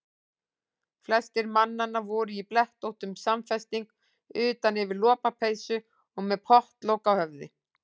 Flestir mannanna voru í blettóttum samfesting utan yfir lopapeysu og með pottlok á höfði.